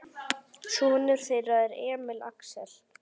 Sonur þeirra er Emil Axel.